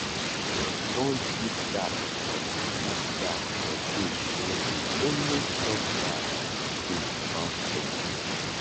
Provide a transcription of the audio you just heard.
dem don give gap for give gap for dos wey dey always talk bad tin about dem